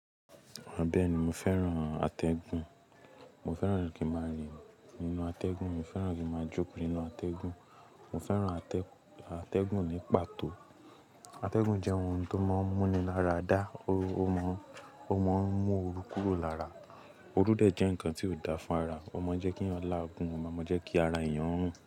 Bẹni, mo fẹ́ran atẹ́gùn. Mo fẹ́ran kí n máa rìn nínú atẹ́gùn, mo fẹ́ran kí máa jókòó nínú atẹ́gùn, mo fẹ́ran atẹ́-atẹ́gùn ní pàtó. Atẹ́gùn jẹ́ ohun tó máa ń múni lára dá, ó má ń, ó máa ń mú ooru kúrò lára. Oru dẹ̀ jẹ́ ǹkan tí ó dáa fún ara, ó máa ń jẹ́ kí a lá gun, ó máa ń jẹ́ kí ara èèyàn rùn.